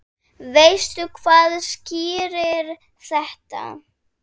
Veistu hvað skýrir þetta?